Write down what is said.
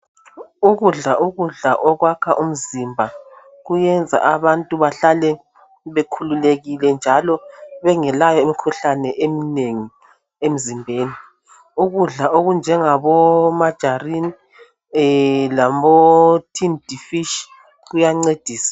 Ukudla ukudla okwakha umzimba kuyenza abantu bahlale bekhululekile .Njalo bengelayo imkhuhlane eminengi emzimbeni .Ukudla okunjengabo margarine labo tinned fish kuyandlcedisa .